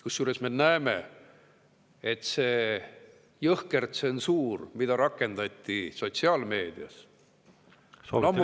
Kusjuures me näeme, et see jõhker tsensuur, mida rakendati sotsiaalmeedias, on ammu paljastatud.